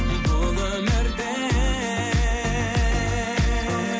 бұл өмірде